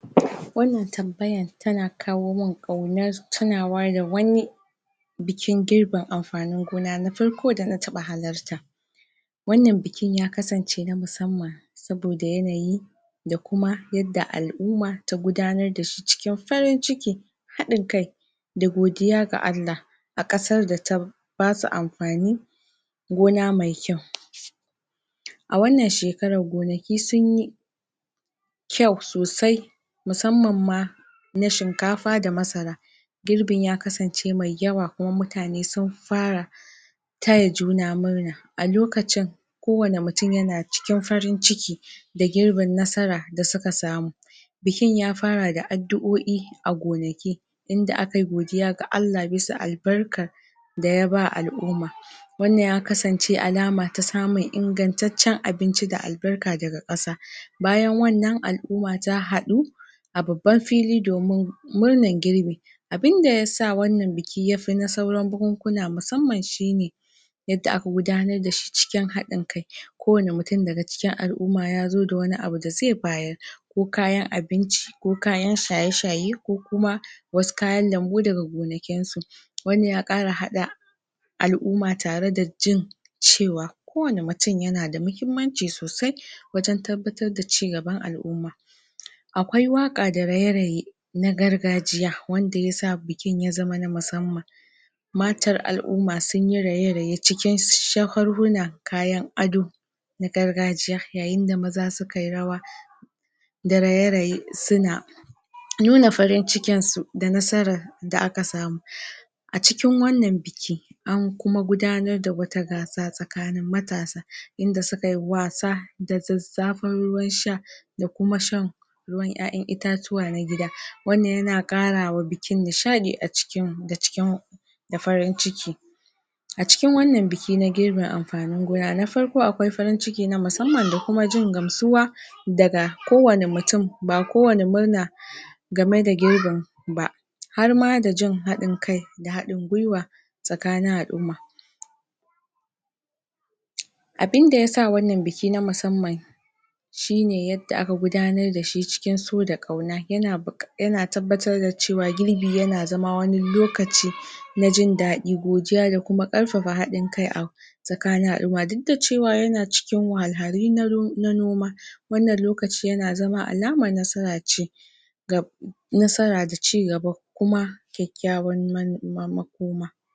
wannan tambayan tana kawo min ƙaunar tunawa da wani bikin girbin amfanin gona na farko da na taɓa halarta wannan bikin ya kasance na musamman saboda yanayi da kuma yadda al'uma ta gudanar da shi cikin farin ciki haɗin kai da godiya ga Allah a ƙasar da ta basu amfani gona mai kyau a wannan shekarar gonaki sunyi kyau sosai musamman ma na shinkafa da masara girbin ya kasance mai yawa kuma mutane sun fa ra taya juna murna a lokacin kowane mutum ya na cikin farin ciki da girbin nasara da suka samu bikin ya fara da addu'oi a gonaki inda aka yi godiya ga Allah bisa albarkar da ya ba al'uma wannan ya kasance alama ta samun ingancaccen abinci da albarka daga ƙasa bayan wannan al'uma ta haɗu a babban fili domin murnan girbi abinda yasa wannan biki ya fi na sauran bukunkuna musamman shine yadda aka gudanar da shi cikin haɗin kai ko wane mutum daga cikin al'uma ya zo da wani abu da zai bayar ko kayan abinci ko kayan shaye shaye ko kuma wasu kayan lambu daga gonakin su wannan ya ƙara haɗa al'uma tare da jin cewa ko wane mutum yana da muhimmanci sosai wajen tabbatar da ci gaban al'umma akwai waƙa da raye raye na gargajiya wanda yasa bikin ya zama na musamman? na gargajiya yayin da maza su kayi rawa da raye raye su na nuna farin cikin su da nasarar da aka samu a cikin wannan biki an kuma gudanar da wata gasa tsakanin matasa inda suka yi wasa da zazzafan ruwan sha da kuma shan ruwan 'ya 'yan itatuwa na gida wannan yana karawa bikin nishaɗi a cikin da cikin da farin ciki a cikin wannan biki na girbin amfanin gona na farko akwai farin ciki na musamman da kuma jin gamsuwa daga kowane mutum ba ko wane murna game da girbin ba har ma da jin haɗin kai da haɗin gwiwa tsakanin al'umma abinda yasa wannan biki na musamman shine yadda aka gudanar da shi cikin so da ƙauna yana tabbatar da cewa girbi yana zama wani lokaci na jin daɗi godiya da kuma ƙarfafa haɗin kai a tsakanin al'umma duk da cewa yana cikin wahalhalu na noma wannan lokaci yana zama alamar nasara ce ga nasara da ci gaba kuma kyakykyawar makoma